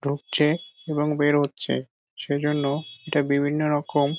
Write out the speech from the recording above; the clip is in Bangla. ঢুকছে এবং বেরোচ্ছে সেজন্য এটা বিভিন্ন রকম--